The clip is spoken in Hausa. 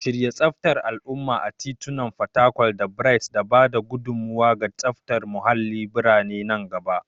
Shirya tsaftar al'umma a titunan fatakwal da Bright da ba da gudummawa ga tsaftar muhallin birane na gaba.